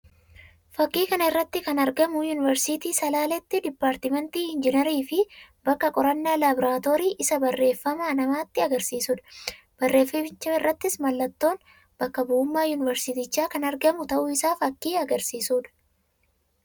Fakkii kana irratti kana argamu yuuniversiitii Salaaleetti dipaartimentii ingiinarii fi bakka qorannaa labiraatoorii isaa barreffama namatti agarsiisuu dha. Barreeffamicha irrattis mallattoon bakka bu'ummaa yuuniversiitichaa kan argamuu ta'uu isaa fakkii agarsiisuu dha.